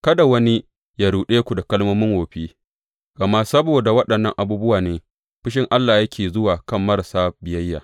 Kada wani yă ruɗe ku da kalmomin wofi, gama saboda waɗannan abubuwa ne fushin Allah yake zuwa a kan marasa biyayya.